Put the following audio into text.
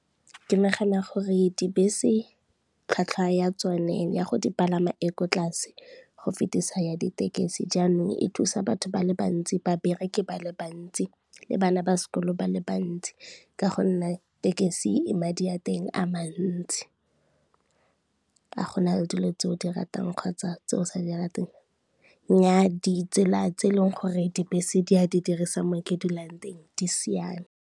Ke nagana gore dibese tlhwatlhwa ya tsone ya go di palama e ko tlase go fetisa ya ditekesi jaanong, e thusa batho ba le bantsi, ba bereki ba le bantsi le bana ba sekolo ba le bantsi ka gonne tekesi madi a teng a mantsi. A go na le dilo tse o di ratang kgotsa tse o sa di rateng? Nnyaa di tsela tse e leng gore dibese di a di dirisa mo ke dulang teng di siame.